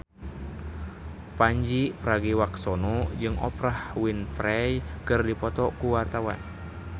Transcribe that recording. Pandji Pragiwaksono jeung Oprah Winfrey keur dipoto ku wartawan